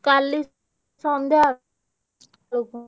କାଲି ସନ୍ଧ୍ୟା ବେଳକୁ।